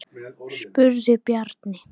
spurði Bjarni.